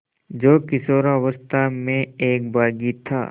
जो किशोरावस्था में एक बाग़ी था